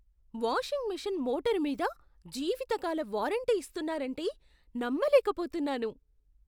Washing machine motor మీద జీవితకాల warranty ఇస్తున్నారంటే నమ్మలేకపోతున్నాను.